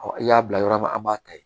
i y'a bila yɔrɔ min an b'a ta yen